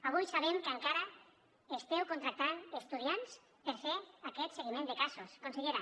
avui sabem que encara esteu contractant estudiants per fer aquest seguiment de casos consellera